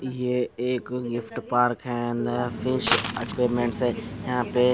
ये एक gift park हैं नया फिश एक्योप्मेंटस है यहाँ पे --